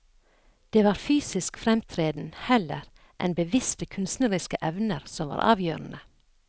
Det var fysisk fremtreden heller enn bevisste kunstneriske evner som var avgjørende.